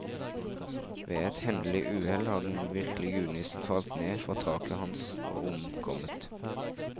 Ved et hendelig uhell, har den virkelige julenissen falt ned fra taket hans og omkommet.